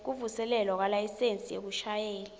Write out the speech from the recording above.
kuvuselelwa kwelayisensi yekushayela